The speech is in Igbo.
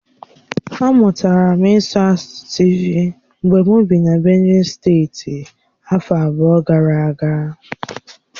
Amụtara m ịsụ asụsụ Tịvi mgbe m bị na Benue steeti afọ abụọ gara aga.